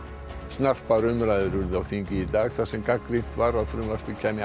snarpar umræður urðu á þingi í dag þar sem gagnrýnt var að frumvarpið kæmi